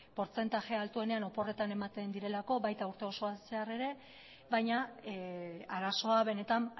portzentai altuenean oporretan ematen direlako baita urte osoan zehar ere baina arazoa benetan